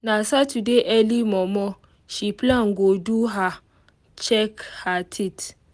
na saturday early momo she plan go do her check her teeth